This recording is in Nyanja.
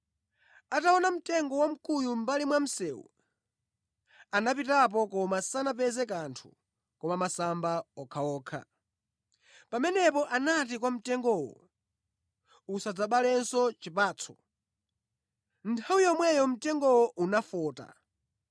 Ataona mtengo wamkuyu mʼmbali mwa msewu, anapitapo koma sanapeze kanthu koma masamba okhaokha. Pamenepo anati kwa mtengowo, “Usadzabalenso chipatso!” Nthawi yomweyo mtengowo unafota.